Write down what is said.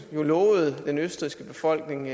lovede den østrigske befolkning